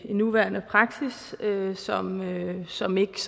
en nuværende praksis som som ikke